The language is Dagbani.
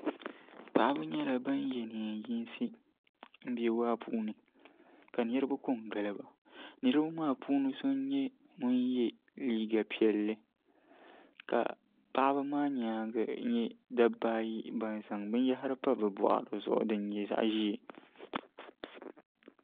Paɣaba nyɛla ban yɛ neen yinsi n bɛ waa puuni ka niraba ko n giliba niraba maa puuni so n nyɛ ŋun yɛ liiga piɛlli ka paɣaba maa nyaangi n nyɛ dabba ayi ban zaŋ binyahari pa bi nyaangi zuɣu din nyɛ zaɣ ʒiɛ